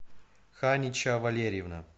ханича валерьевна